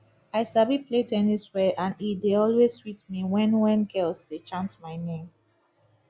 i sabi play ten nis well and e dey always sweet me wen wen girls dey chant my name